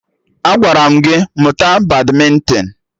Agwara m gị mụta badmịntịn!